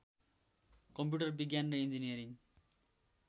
computer विज्ञान र engineering